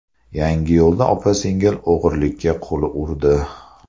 Yangiyo‘lda opa-singil o‘g‘rilikka qo‘l urdi.